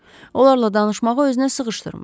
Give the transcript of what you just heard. Onlarla danışmağı özünə sığışdırmır.